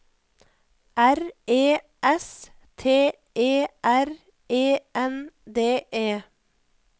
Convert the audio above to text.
R E S T E R E N D E